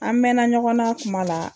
An mɛna ɲɔgɔnna a kuma la.